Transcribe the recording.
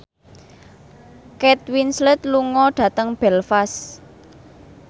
Kate Winslet lunga dhateng Belfast